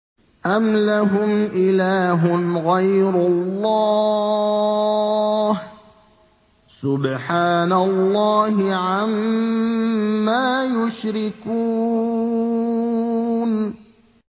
أَمْ لَهُمْ إِلَٰهٌ غَيْرُ اللَّهِ ۚ سُبْحَانَ اللَّهِ عَمَّا يُشْرِكُونَ